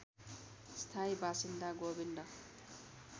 स्थायी बासिन्दा गोविन्द